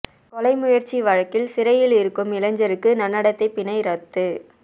கொலை முயற்சி வழக்கில் சிறையில் இருக்கும் இளைஞருக்கு நன்னடத்தை பிணை ரத்து